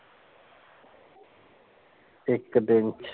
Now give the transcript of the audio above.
ਇਕ ਦਿਨ ਚ